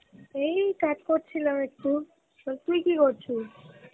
এই কাজ করছিলাম একটু তুই কি করছিস?